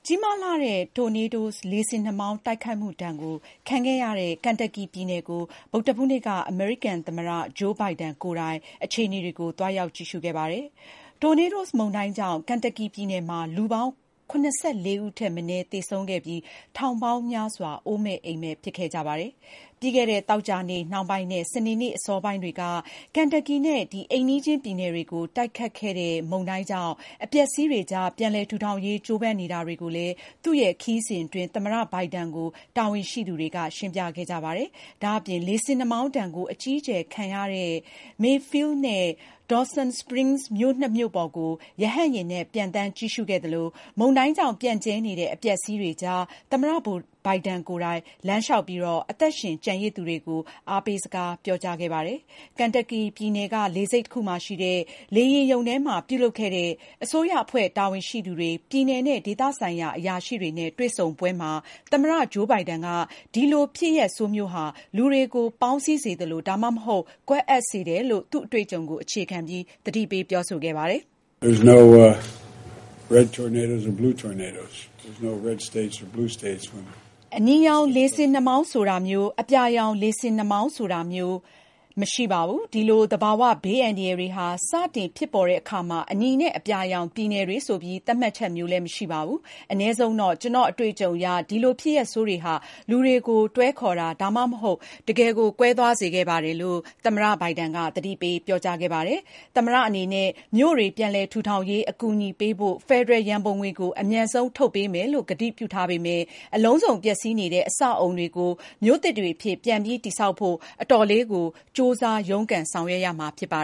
ကြီးမားလှတဲ့ tornadoes လေဆင်နှာမောင်း တိုက်ခတ်မှုဒဏ်ကို ခံခဲ့ရတဲ့ Kentucky ပြည်နယ်ကို ဗုဒ္ဓဟူးနေ့က အမေရိကန်သမ္မတ Joe Biden ကိုယ်တိုင် အခြေအနေတွေကို သွားရောက်ကြည့်ရှု ခဲ့ပါတယ်။ Tornadoes မုန်တိုင်းကြောင့် Kentucky ပြည်နယ်မှာ လူပေါင်း ၇၄ ဦးထက်မနည်း သေဆုံးခဲ့ပြီး ထောင်ပေါင်းများစွာ အိုးမဲ့အိမ်မဲ့ ဖြစ်ခဲ့ကြပါတယ်။ ပြီးခဲ့တဲ့ သောကြာနေ့နှောင်းပိုင်းနဲ့ စနေနေ့ အစောပိုင်းတွေက Kentucky နဲ့ အိမ်နီးချင်းပြည်နယ်တွေကို တိုက်ခတ်ခဲ့တဲ့ မုန်တိုင်းကြောင့် အပျက်အစီးတွေကြား ပြန်လည် ထူထောင်ရေး ကြိုးပမ်းနေတာတွေကိုလည်း သူ့ရဲ့ခရီးစဉ်အတွင်း သမ္မတ Biden ကို တာဝန်ရှိသူတွေက ရှင်းပြခဲ့ကြပါတယ်။ ဒါ့အပြင် လေဆင်နှာမောင်းဒဏ်ကို အကြီးအကျယ်ခံရတဲ့ Mayfield နဲ့ Dawson Springs မြို့နှစ်မြို့ပေါ်ကို ရဟတ်ယာဉ်နဲ့ ပျံသန်း ကြည့်ရှုခဲ့သလို မုန်တိုင်းကြောင့် ပြန့်ကျဲနေတဲ့ အပျက်အစီးတွေကြား သမ္မတ ဘိုင်ဒန် ကိုယ်တိုင် လမ်းလျှောက်ပြီး အသက်ရှင် ကျန်ရစ်သူတွေကို အားပေးစကားပြောကြားခဲ့ပါတယ်။ Kentucky ပြည်နယ်က လေဆိပ်တခုမှာရှိတဲ့ လေယာဉ်ရုံထဲမှာ ပြုလုပ်ခဲ့တဲ့ အစိုးရအဖွဲ့တာဝန်ရှိသူတွေ၊ ပြည်နယ်နဲ့ ဒေသဆိုင်ရာ အရာရှိတွေနဲ့ တွေ့ဆုံပွဲမှာ သမ္မတ Joe Biden က ဒီလိုဖြစ်ရပ်ဆိုးမျိုးဟာ လူတွေကို ပေါင်းစည်းစေသလို ဒါမှမဟုတ် ကွဲအက်စေတယ်လို့ သူ့အတွေ့အကြုံကို အခြေခံပြီး သတိပေး ပြောဆိုသွားပါတယ်။ "အနီရောင် လေဆင်နှာမောင်း ဆိုတာမျိုး အပြာရောင် လေဆင်နှာမောင်းဆိုတာမျိုး မရှိပါဘူး။ ဒီလို သဘာဝဘေးအန္တရာယ်တွေဟာ စတင်ဖြစ်ပေါ်တဲ့အခါမှာ အနီနဲ့ အပြာရောင် ပြည်နယ်တွေဆိုပြီး သတ်မှတ်ချက်မရှိပါဘူး။ အနည်းဆုံးတော့ ကျနော့်အတွေ့အကြုံအရ ဒီလို ဖြစ်ရပ်ဆိုးတွေဟာ လူတွေကို တွဲခေါ်တာ ဒါမှမဟုတ် တကယ် ကွဲသွားစေပါတယ်။" သမ္မတအနေနဲ့ မြို့တွေပြန်လည်ထူထောင်ရေးအကူအညီပေးဖို့ ဖယ်ဒရယ် ရန်ပုံငွေကို အမြန်ဆုံးထုတ်ပေးမယ်လို့ ကတိပြုထားပေမဲ့ အလုံးစုံပျက်စီးနေတဲ့ အဆောက်အဦတွေကို မြို့သစ်တွေအဖြစ် ပြန်ပြီးတည်ဆောက်ဖို့ အတော်လေးကို ကြိုးစားရုန်းကန် ဆောင်ရွက်ရမှာဖြစ်ပါ